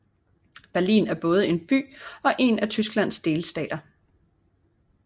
Berlin er både en by og en af Tysklands delstater